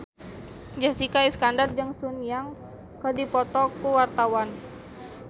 Jessica Iskandar jeung Sun Yang keur dipoto ku wartawan